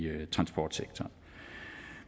transportsektoren